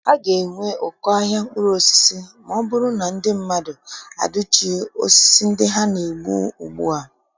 A ga-enwe ụkọ ahịa mkpụrụosisi ma ọ bụrụ na ndị mmadụ adụchighị osisi ndị ha na- egbu ugbua.